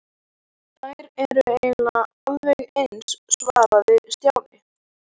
Þær eru eiginlega alveg eins svaraði Stjáni.